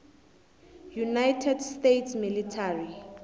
united states military